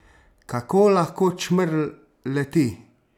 Kako lahko čmrlj leti?